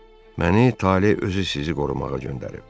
Məni taleh özü sizi qorumağa göndərib.